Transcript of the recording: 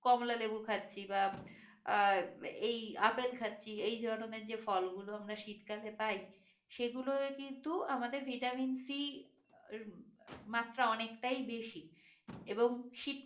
কমলা লেবু খাচ্ছি বা আহ এই আপেল খাচ্ছি এই ধরণের যে ফলগুলো আমরা শীতকালে পাই সেগুলোই কিন্তু আমাদের ভিটামিন সি রমাত্রা অনেকটাই বেশি এবং